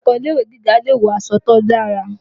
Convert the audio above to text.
Akẹ́kọ̀ọ́ ilé-ìwé gíga lè wọṣọ to dára